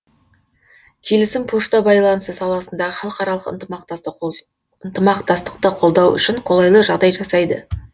келісім пошта байланысы саласындағы халықаралық ынтымақтастықты қолдау үшін қолайлы жағдай жасайды